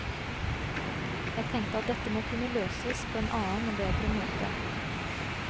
Jeg tenkte at dette må kunne løses på en annen og bedre måte.